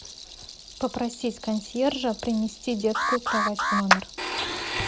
попросить консьержа принести детскую кровать в номер